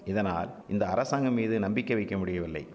இதனால் இந்த அரசாங்கம்மீது நம்பிக்கை வைக்க முடியவில்லை